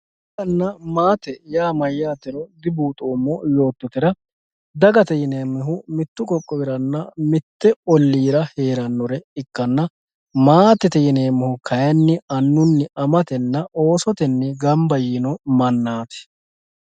daganna maate yaa mayyaatero dibuuxoommo yoottotera dagate yineemmoha mittu qoqqowiranna mitte olliira heerannore ikkanna maatete yineemmohu kayiinni annunna amatenna oosotenni ganba yiino mannaati.